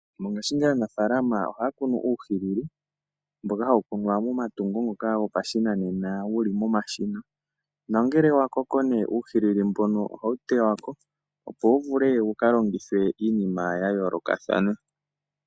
Mongaashingeyi aanafalama ohaya kunu uuhilili, mboka hawu kunwa momatungo ngoka gopashinanena wuli momashina. Nongele uuhilili mboka wa koko, ohawu tewako, opo wu vule wuka longithwe iinima ya yoolokathana.